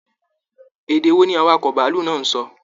Èdè wò ní awakọ̀ bàálù náà n sọ?